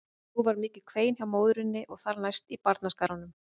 Nú varð mikið kvein hjá móðurinni og þar næst í barnaskaranum.